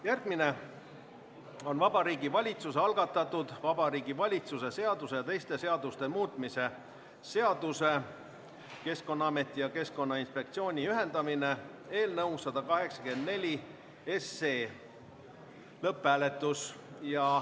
Järgmine on Vabariigi Valitsuse algatatud Vabariigi Valitsuse seaduse ja teiste seaduste muutmise seaduse eelnõu 184 lõpphääletus.